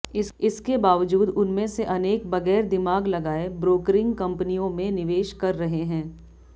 इसके बावजूद उनमें से अनेक बगैर दिमाग लगाए ब्रोक्रिंग कंपनियों में निवेश कर रहे हैं